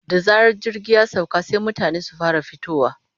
Da zarar jirgi ya sauka sai mutane su fara fitowa.